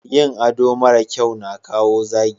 yin ado mara kyau na kawo zagi